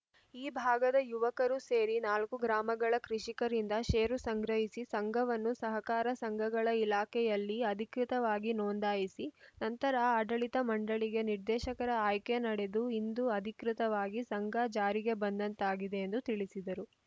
ಈ ಭಾಗದ ಯುವಕರು ಸೇರಿ ನಾಲ್ಕು ಗ್ರಾಮಗಳ ಕೃಷಿಕರಿಂದ ಶೇರು ಸಂಗ್ರಹಿಸಿ ಸಂಘವನ್ನು ಸಹಕಾರ ಸಂಘಗಳ ಇಲಾಖೆಯಲ್ಲಿ ಅಧಿಕೃತವಾಗಿ ನೋಂದಾಯಿಸಿ ನಂತರ ಆಡಳಿತ ಮಂಡಳಿಗೆ ನಿರ್ದೇಶಕರ ಆಯ್ಕೆ ನಡೆದು ಇಂದು ಅಧಿಕೃತವಾಗಿ ಸಂಘ ಜಾರಿಗೆ ಬಂದಂತಾಗಿದೆ ಎಂದು ತಿಳಿಸಿದರು